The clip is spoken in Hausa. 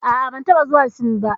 A'a, ban taɓa zuwa Sin ba.